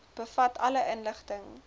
bevat alle inligting